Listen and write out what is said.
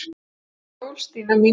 Gleðileg jól, Stína mín.